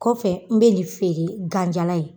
Kɔfɛ n bɛ nin feere ganjala ye.